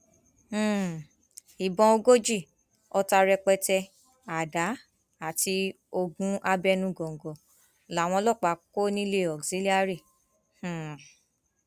um ìbọn ogójì ọta rẹpẹtẹ àdá àti oògùn abẹnugọńgọ làwọn ọlọpàá kọ nílẹ auxilliary um